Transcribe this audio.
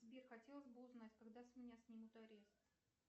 сбер хотелось бы узнать когда с меня снимут арест